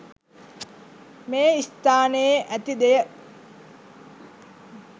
මේ ස්ථානයේ ඇති දෙය